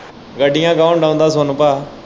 ਗੱਡੀਆਂ ਕੋਣ ਸੋਨੂੰ ਪਾ।